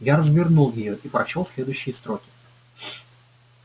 я развернул её и прочёл следующие строки